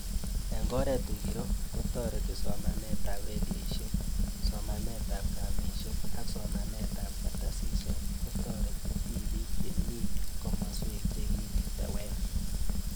Eng'oret ngiro ko tareti somanet ab redishek, somanet ab kambishek ak somanet ab kartasishek ko tareti tipik che mii komaswek che kiketewer